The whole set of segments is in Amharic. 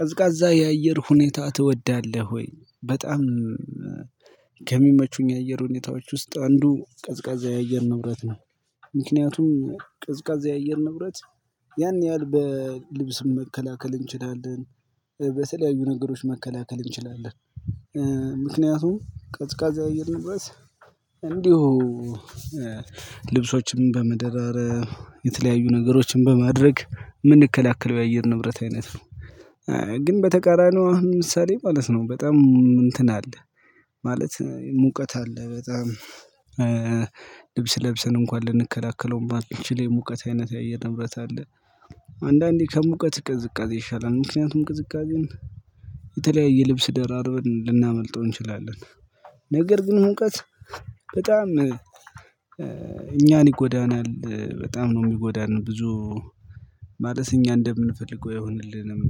ቀዝቃዛ የአየር ሁኔታ ትወዳለህ ወይ? በጣም ከሚመቹኝ የአየር ሁኔታዎች ውስጥ አንዱ ቀዝቃዛ የአየር ንብረት ነው። ምክንያቱም ቀዝቃዛ የአየር ንብረት ያን ያህል በልብስም መከላከል እንችላለን በተለያዩ ነገሮች መከላከል እንችላለን። ምክንያቱም ቀዝቃዛ የአየር ንብረት እንዲሁ ልብሶችን በመደራረብ የተለያዩ ነገሮችን በማድረግ እምንከላከለው የአየር ንብረት አይነት ነው። ግን በተቃራኒው ምሳሌ ማለት ነው በጣም እንትን አለ ማለት ሙቀት አለ በጣም ልብስ ለብሰን እንኳን ልንከላከለው እማንችል የሙቀት አይነት የአየር ንብረት አለ። አንዳንዴ ከሙቀት ቅዝቃዜ ይሻላል ምክንያቱም ቅዝቃዜን የተለያየ ልብስ ደራርበን ልናመልጠው እንችላለን። ነገር ግን ሙቀት በጣም እኛን ይጎዳናል በጣም ነው እሚጎዳን ብዙ። ማለት እኛ እንደምንፈልገው ይሆንልንም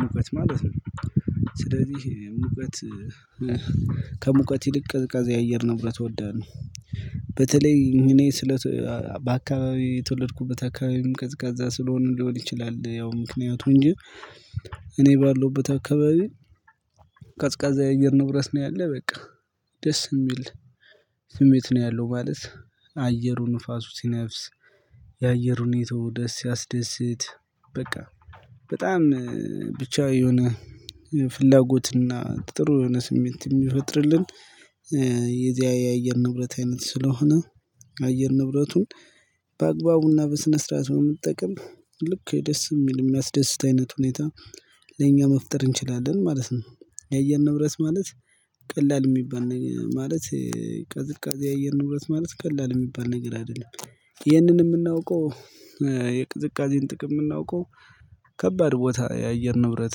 ሙቀት ማለት ነው። ስለዚህ ሙቀት ከሙቀት ይልቅ ቀዝቃዛ የአየር ንብረት እወዳለሁ። በተለይ እኔ በአካባቢው የተወለድኩበት አካባቢም ቀዝቃዛ ስለሆነ ሊሆን ይችላል ያው ምክንያቱ እንጂ። እኔ ባለሁበት አካባቢ ቀዝቃዛ የአየር ንብረት ነው ያለ በቃ። ደስ እሚል ስሜት ነው ያለው ማለት አየሩ ንፋሱ ሲነፍስ የአየር ሁኔታው ደስ ሲያስደስት በቃ በጣም ብቻ የሆነ ፍላጎትና ጥሩ የሆነ ስሜት የሚፈጥርልን። የዚያ የአየር ንብረት አይነት ስለሆነ አየር ንብረቱን በአግባቡና በስነ ስርዓቱ ብንጠቀም ልክ ደስ እሚል እሚያስደስት አይነት ሁኔታ ለኛ መፍጠር እንችላለን ማለት ነው። የአየር ንብረት ማለት ቀላል እሚባል ነገር ማለት ቅዝቃዜ የአየር ንብረት ማለት ቀላል እሚባል ነገር አይደለም። ይህንን እምናውቀው የቅዝቃዜን ጥቅም እምናውቀው ከባድ ቦታ የአየር ንብረት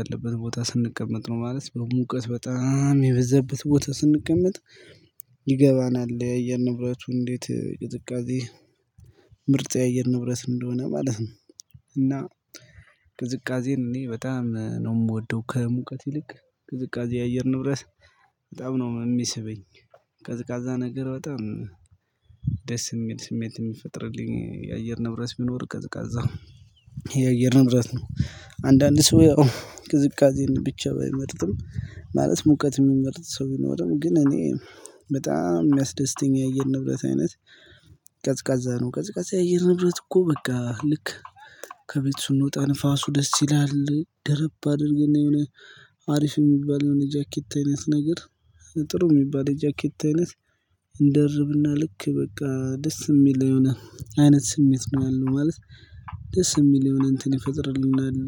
ያለበት ቦታ ስንቀመጥ ነው። ማለት በሙቀት በጣም የበዛበት ቦታ ስንቀመጥ ይገባናል የአየር ንብረቱ እንዴት ቅዝቃዜ ምርጥ የአየር ንብረት እንደሆነ ማለት ነው። እና ቅዝቃዜን እኔ በጣም ነው እምወደው ከሙቀት ይልቅ ቅዝቃዜ የአየር ንብረት በጣም ነው እሚስበኝ። ቀዝቃዛ ነገር በጣም ደስ እሚል ስሜት እሚፈጥርልኝ የአየር ንብረት ቢኖር ቀዝቃዛው የአየር ንብረት ነው። አንዳንድ ሰው ያው ቅዝቃዜን ብቻ ባይመርጥም ማለት ሙቀት እሚመርጥ ሰው ይኖርም ግን እኔ በጣም እሚያስደስተኝ የንብረት አይነት ቀዝቃዛ ነው። ቀዝቃዛ የአየር ንብረት እኮ በቃ ልክ ከቤት ስንወጣ ንፋሱ ደስ ይላል ደረብ አድርግና የሆነ አሪፍ እሚባል የሆነ ጃኬት አይነት ነገር። ጥሩ እሚባል የጃኬት አይነት እንደርብና ልክ በቃ ደስ እሚል የሆነ አይነት ስሜት ነው ያለው ማለት ደስ እሚል የሆነ እንትን ይፈጥርልናል።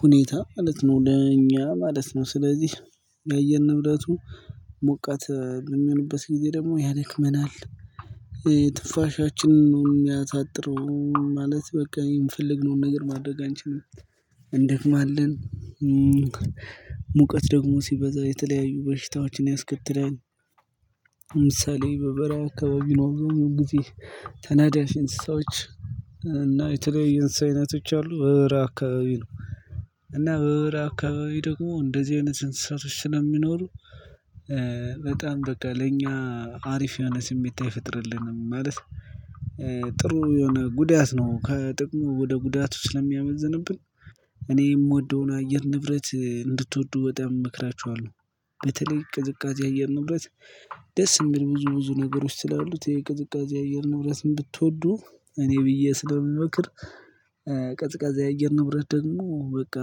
ሁኔታ ማለት ነው ለኛ ማለት ነው ስለዚህ የአየር ንብረቱ ሞቃት በሚሆንበት ጊዜ ደግሞ ያደክመናል። ትንፋሻችንን ነው እሚያሳጥረው ማለት በቃ የፈልግነውን ነገር ማድረግ አንችልም። እንደክማ ለን ሙቀት ደግሞ ሲበዛ የተለያዩ በሽታዎችን ያስከትላል። ለምሳሌ በበረ አካባቢ ጊዜ ተናዳፊ እንሰሳዎች እና የተለያየ የእንሰሳ አይነቶች ያሉ በበረሃ አካባቢ ነው። እና በበርሃ አካባቢ ደግሞ እንደዚህ አይነት እንሰሳቶች ስለሚኖሩ በጣም በቃ ለኛ አሪፍ የሆነ ስሜት አይፈጥርልንም ማለት። ጥሩ የሆነ ጉዳት ነው ከጥቅሙ ወደ ጉዳቱ ስለሚያመዝንብን እኔ የምወደውን አየር ንብረት እንድትወዱ በጣም እመክራችኋለሁ። በተለይ ቅዝቃዜ አየር ንብረት ደስ የሚል ብዙ ብዙ ነገሮች ስላሉት የቅዝቃዜ አየር ንብረት ብትወዱ እኔ ብዬ ስለምመክር። ቀዝቃዛ የአየር ንብረት ደግሞ በቃ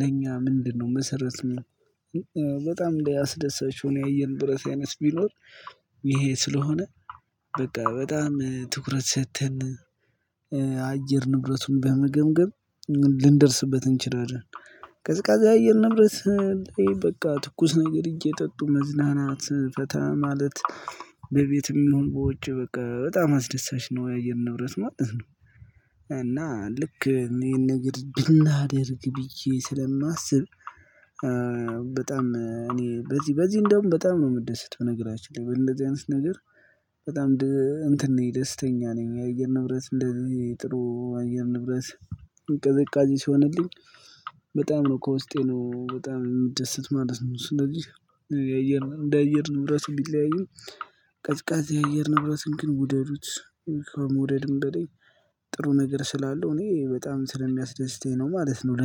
ለኛ ምንድነው? መሰረት በጣም ያስደሳቹን የአየር ንብረት አይነት ቢኖር ይሄ ስለሆነ በቃ በጣም ትኩረት ሰጥተን አየር ንብረቱን በመገምገም ልንደርስበት እንችላለን። ቀዝቃዛ የአየር ንብረት በቃ ትኩስ ነገር እየጠጡ መዝናናት ፈታ ማለት በቤት ይሁን በውጭ በቃ በጣም አስደሳች ነው የአየር ንብረት ማለት ነው። እና ልክ ይሄን ነገር ብናደርግ ብዬ ስለማስብ። በጣም እኔ በዚህ በዚህ እንደውም በጣም ነው የምደሰት በነገራችን ላይ በእንደዚህ አይነት ነገር በጣም እንትን ነኝ ደስተኛ ነኝ። የአየር ንብረት እንደዚህ ጥሩ አየር ንብረት ቅዝቃዜ ሲሆንልኝ በጣም ነው ከውስጤ ነው በጣም የምደሰት ማለት ነው። ስለዚህ የአየር እንደ አየር ንብረቱ ቢለያይም ቀዝቃዛ የአየር ንብረትን ግን ውደዱት ከመውደድም በላይ ጥሩ ነገር ስላለው እኔ በጣም ስለሚያስደስተኝ ነው ማለት ነው